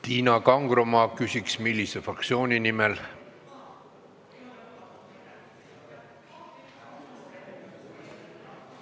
Tiina Kangro, ma küsin, millise fraktsiooni nimel.